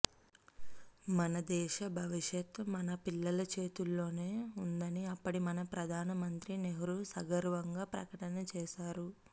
మన దేశ భవిష్యత్తు మన పిల్లల చేతుల్లోనే ఉందని అప్పటి మన ప్రధానమంత్రి నెహ్రూ సగర్వంగా ప్రకటన చేశారు